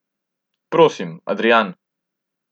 Prosim, Adrijan.